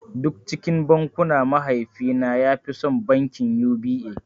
Duk cikin bankuna mahaifi na ya fi son bankin U.B.A